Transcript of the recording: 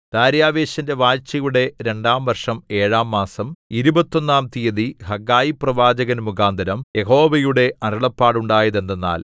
ദാര്യവേശിന്റെ വാഴ്ചയുടെ രണ്ടാം വര്‍ഷം ഏഴാം മാസം ഇരുപത്തൊന്നാം തീയതി ഹഗ്ഗായി പ്രവാചകൻമുഖാന്തരം യഹോവയുടെ അരുളപ്പാടുണ്ടായത് എന്തെന്നാൽ